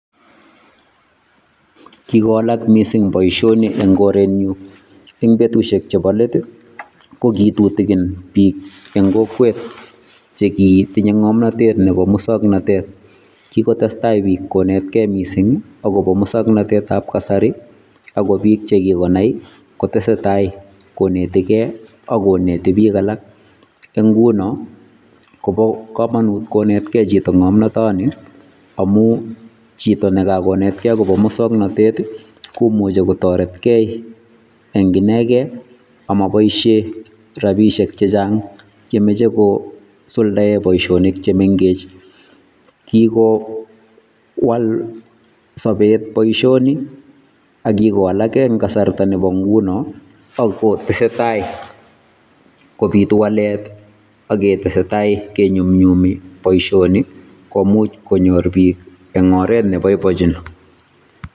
Kikowalak missing boisionik en koreet nyuun en betusiek chebo leet ko kitutuguin biik en kokwet chekitinyei ngamnatet chebo musangnatet, kokotestai biik konetkei missing ii agobo musangnatet ab kasari ago biik chekikonai kotesetai konetkei ko netei biik alaak ,en ngunoo ko bo kamanut konetkei ngamnataan nii amuu chitoo nekakonetkei agobo musangnatet komuchei kotaretkei en inekei amabaisheen rapisheek chechaang chemachei kosuldaen boisanik che mengeech kikowalak sabet boisioni ak kikowalak boisioni en kasarta ko nguni ako tesetai kobituu waleet ake tesetai kenyunyumii boisionik komuuch konyoor biik en oreet ne baibachiin.